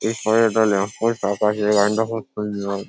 এরপরে একটা lamp post আঁকা আছে ল্যাম্প পোস্ট পোস্ট তৈরি হয় ।